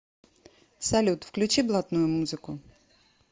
салют включи блатную музыку